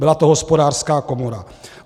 Byla to Hospodářská komora.